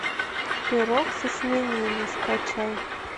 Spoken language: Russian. пирог со свининой скачай